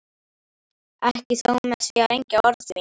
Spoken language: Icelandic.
Ekki þó með því að rengja orð þín.